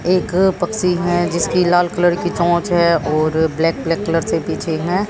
एक पक्षी है जिसकी लाल कलर की चोंच है और ब्लैक ब्लैक कलर से पीछे हैं।